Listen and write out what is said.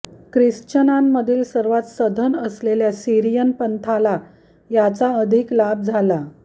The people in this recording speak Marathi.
ख्रिश्चननांमधील सर्वात सधन असलेल्या सीरियन पंथाला याचा अधिक लाभ झाला